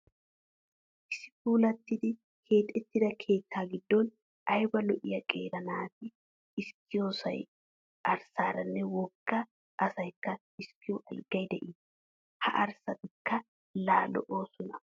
Issi puulattidi keexettida keettaa giddon ayba lo'iya qeera naata xiskkissiyo arssaaranne wogga asaykka xiskkiyo alaggay de'ees. Ha arssatikka laa lo'oosona gooppa!